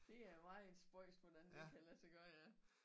Det er meget spøjst hvordan det kan lade sig gøre ja